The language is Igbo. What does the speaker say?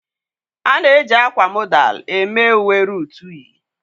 A na-eji akwa modal eme uwe Ruutu yi.